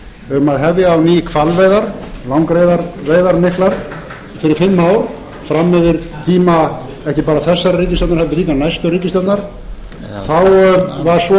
um að hefja á ný hvalveiðar langreyðaveiðar miklar í fimm ár fram yfir tíma ekki bara þessarar ríkisstjórnar heldur líka næstu ríkisstjórnar þá var svo látið